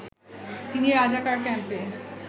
তিনি রাজাকার ক্যাম্পে